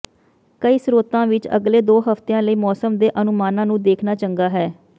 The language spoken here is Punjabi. ਕਈ ਸਰੋਤਾਂ ਵਿੱਚ ਅਗਲੇ ਦੋ ਹਫ਼ਤਿਆਂ ਲਈ ਮੌਸਮ ਦੇ ਅਨੁਮਾਨਾਂ ਨੂੰ ਦੇਖਣਾ ਚੰਗਾ ਹੈ